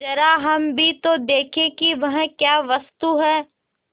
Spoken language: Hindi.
जरा हम भी तो देखें कि वह क्या वस्तु है